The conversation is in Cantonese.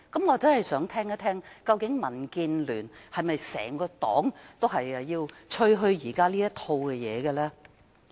我真想聽聽民建聯整個黨是否也鼓吹現時她這套主張。